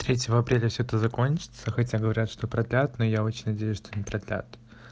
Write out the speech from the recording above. третьего апреля все это закончится хотя говорят что продлят но я очень надеюсь что не продлят